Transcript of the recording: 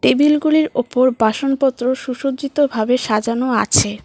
টেবিলগুলির ওপর বাসনপত্র সুসজ্জিতভাবে সাজানো আছে।